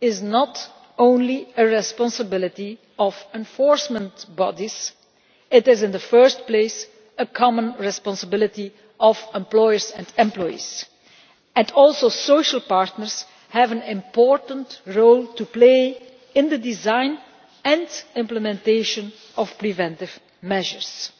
is not only a responsibility of enforcement bodies. It is in the first place a common responsibility of employers and employees, and social partners too have an important role to play in the design and implementation of preventive measures.